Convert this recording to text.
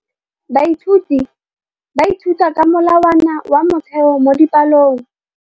Baithuti ba ithuta ka molawana wa motheo mo dipalong.